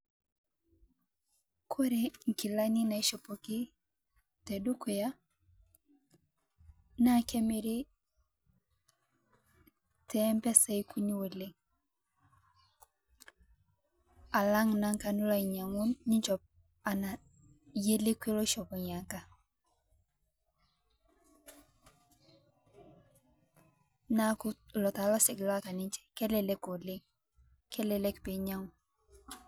Kore nkilani naishopoki tedukuya naa kemiri tempesai kuni oleng alang' nanga nishop ana yie lekwe oshopo nyia anga ,naaku lo taa losek loata ninje kelelek oleng kelelek piinyang'u.